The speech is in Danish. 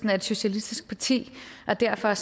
er et socialistisk parti og derfor